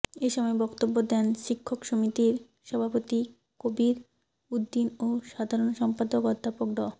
এ সময় বক্তব্য দেন শিক্ষক সমিতির সভাপতি খবির উদ্দিন ও সাধারণ সম্পাদক অধ্যাপক ড